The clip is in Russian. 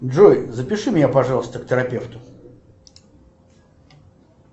джой запиши меня пожалуйста к терапевту